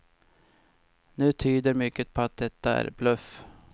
Nu tyder mycket på att detta är bluff.